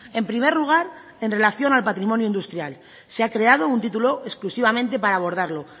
en primer lugar en relación al patrimonio industrial se ha creado un título exclusivamente para abordarlo